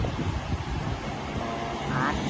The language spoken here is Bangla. ও আর